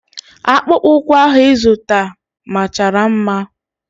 Akpụkpọ ụkwụ ahụ ịzụta machara mma.